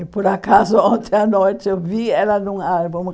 E, por acaso, ontem à noite eu vi ela num álbum.